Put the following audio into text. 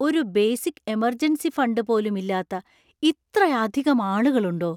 ഒരു basic emergency fund പോലും ഇല്ലാത്ത ഇത്രയധികം ആളുകളുണ്ടോ?